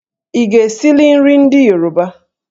Ị ga-esili nri ndị Yoruba?